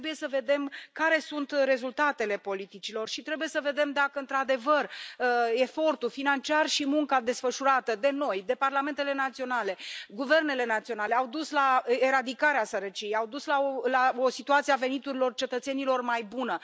Trebuie să vedem care sunt rezultatele politicilor și trebuie să vedem dacă, într adevăr, efortul financiar și munca desfășurată de noi, de parlamentele naționale și guvernele naționale au dus la eradicarea sărăciei, au dus la o situație a veniturilor cetățenilor mai bună.